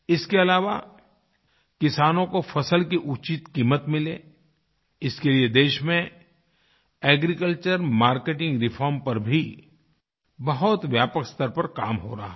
इसके अलावा किसानों को फसल की उचित क़ीमत मिले इसके लिए देश में एग्रीकल्चर मार्केटिंग रिफॉर्म पर भी बहुत व्यापक स्तर पर काम हो रहा है